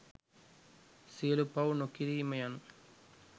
සියලු පව් නොකිරීම යනු